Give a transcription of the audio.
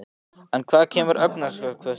En hvaðan kemur hagvöxturinn?